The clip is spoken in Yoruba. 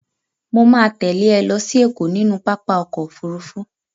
Mo ma tẹ́lẹ̀ ẹ lọ sí Ẹ̀kọ́ nínú pápá ọkọ̀ Òfurufú.